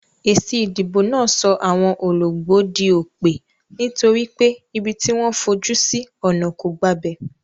Èsì ìdìbò náà so àwon ologbó dí òpè, nítorí pé ibi tí wón fojú sí ònà kò gbabè